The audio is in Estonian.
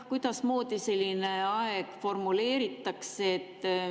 Kuidasmoodi selline aeg formuleeritakse?